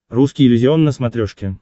русский иллюзион на смотрешке